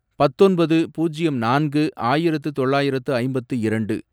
பத்தொன்பது, பூஜ்யம் நான்கு, ஆயிரத்து தொள்ளாயிரத்து ஐம்பத்து இரண்டு